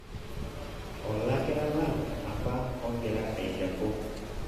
olakira lang' apa ogira ailepu